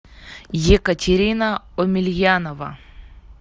екатерина омельянова